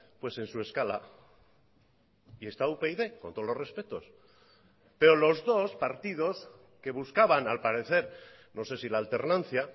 pues en su escala y está upyd con todos los respetos pero los dos partidos que buscaban al parecer no sé si la alternancia